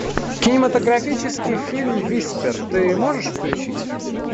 кинематографический фильм виспер ты можешь включить